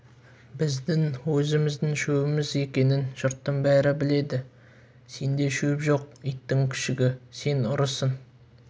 біздің өзіміздің шөбіміз екенін жұрттың бәрі біледі сенде шөп жоқ иттің күшігі сен ұрысың